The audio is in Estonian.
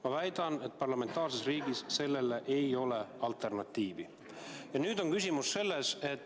Ma väidan, et parlamentaarses riigis sellele alternatiivi ei ole.